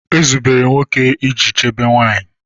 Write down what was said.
Ezubere nwoke iji chebe nwanyị